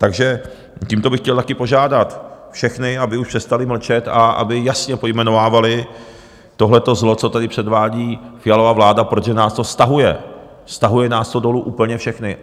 Takže tímto bych chtěl také požádat všechny, aby už přestali mlčet a aby jasně pojmenovávali tohleto zlo, co tady předvádí Fialova vláda, protože nás to stahuje, stahuje nás to dolů úplně všechny.